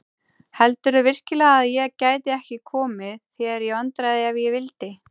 Heldurðu virkilega að ég gæti ekki komið þér í vandræði ef ég vildi?